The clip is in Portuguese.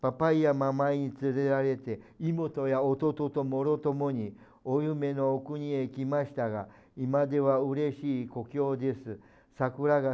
papai e a mamãe